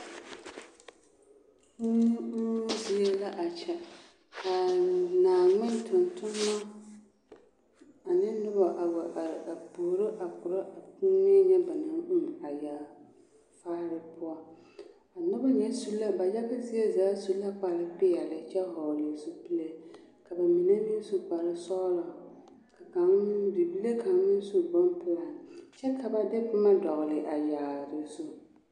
Kuu uuŋ zie la a kyɛ ka naaŋmen tontonma ane noba a wa are a puoro a korɔ a kuunee ŋa ba naŋ uu a yaafaare poɔ a noba ŋa su la ba yaga zie zaa su la kparepeɛlle kyɛ vɔgle zupile ka mine meŋ su kparesɔglɔ ka kaŋ meŋ ka bibile kaŋ meŋ su bonpelaa kyɛ ka de boma dɔgle a yaare zu.